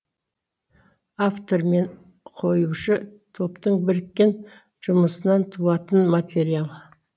автор мен қоюшы топтың біріккен жұмысынан туатын материал